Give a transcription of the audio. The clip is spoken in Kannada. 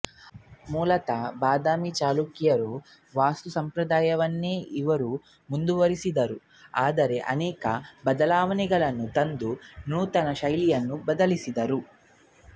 ಮೂಲತಃ ಬಾದಾಮಿ ಚಳುಕ್ಯರ ವಾಸ್ತುಸಂಪ್ರದಾಯವನ್ನೇ ಇವರು ಮುಂದುವರಿಸಿದರೂ ಅದರಲ್ಲಿ ಅನೇಕ ಬದಲಾವಣೆಗಳನ್ನು ತಂದು ನೂತನ ಶೈಲಿಯನ್ನು ಬೆಳೆಸಿದರು